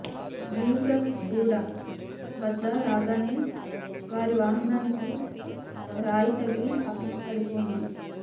యూసఫ్ గూడ వద్ద రాగానే వారి వాహనానికి రాయి తగిలి పక్కకు పడిపోయింది